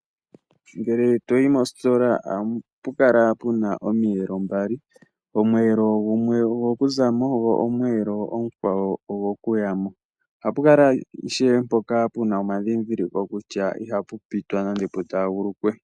Ngele toyi mositola oapu kala puna omiyelo mbali , gumwe ogo zamo nagumwe ogo ku kuyamo. Ohapu kala puna omadhidhiliko kutya ihapu pitwa nenge pu taagulukwa.